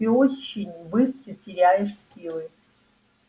ты очень быстро теряешь силы